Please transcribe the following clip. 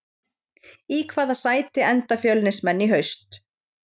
Í hvaða sæti enda Fjölnismenn í haust?